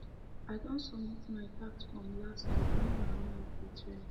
i don um submit my tax forms last week um make my mind fit rest